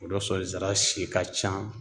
O dɔ sɔrɔ zira si ka can